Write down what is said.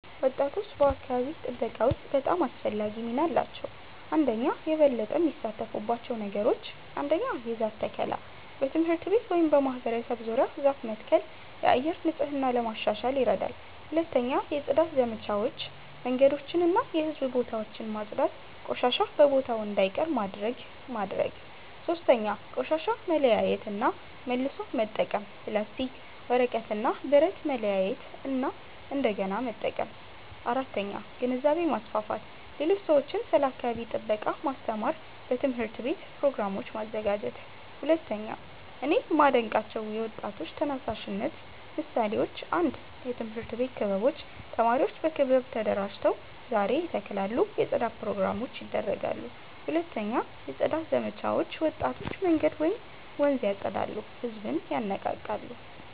ወጣቶች በአካባቢ ጥበቃ ውስጥ በጣም አስፈላጊ ሚና አላቸው። 1)የበለጠ የሚሳተፉባቸው ነገሮች ? 1. የዛፍ ተከላ በትምህርት ቤት ወይም በማህበረሰብ ዙሪያ ዛፍ መትከል የአየር ንጽህና ለማሻሻል ይረዳል 2. የጽዳት ዘመቻዎች መንገዶችን እና የህዝብ ቦታዎችን ማጽዳት ቆሻሻ በቦታው እንዳይቀር ማድረግ ማድረግ 3. ቆሻሻ መለያየት እና መልሶ መጠቀም ፕላስቲክ፣ ወረቀት እና ብረት ማለያየት እንደገና መጠቀም 4. ግንዛቤ ማስፋፋት ሌሎች ሰዎችን ስለ አካባቢ ጥበቃ ማስተማር በትምህርት ቤት ፕሮግራሞች ማዘጋጀት 2)እኔ የማዴንቃቸው የወጣቶች ተነሳሽነት ምሳሌዎች 1 የትምህርት ቤት ክበቦች ተማሪዎች በክበብ ተደራጅተው ዛፍ ይተክላሉ የጽዳት ፕሮግራሞች ያደርጋሉ 2 የጽዳት ዘመቻዎች ወጣቶች መንገድ ወይም ወንዝ ያፀዳሉ ህዝብን ይነቃቃሉ